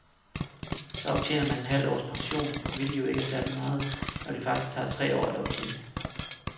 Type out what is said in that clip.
Så optjener man et halvt års pension, hvilket jo ikke er særligt meget, når det faktisk tager tre år at optjene det.